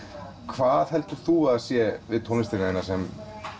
hvað heldur þú að það sé við tónlistina þína sem